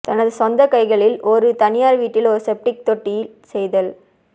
தனது சொந்த கைகளில் ஒரு தனியார் வீட்டில் ஒரு செப்டிக் தொட்டி செய்தல்